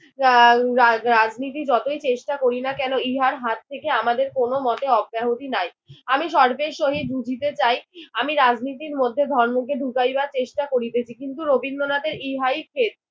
আহ রাজ রাজনীতি যতই চেষ্টা করি না কেন ইহার হাত থেকে আমাদের কোন মতেই আমাদের অব্যাহতি নাই। আমি শর্তের সহিত বুঝিতে চাই। আমি রাজনীতির মধ্যে ধর্মকে ঢুকাইবার চেষ্টা করিতেছি। কিন্তু রবীন্দ্রনাথের ইহাই খেদ।